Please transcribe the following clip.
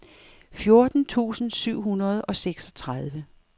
fjorten tusind syv hundrede og seksogtredive